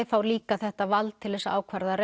fá líka þetta vald til þess að ákvarða